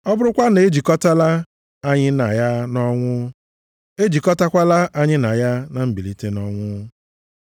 Ọ bụrụkwa na e jikọtaala anyị na ya nʼọnwụ, e jikọtakwala anyị na ya na mbilite nʼọnwụ.